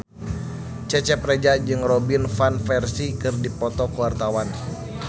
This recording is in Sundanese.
Cecep Reza jeung Robin Van Persie keur dipoto ku wartawan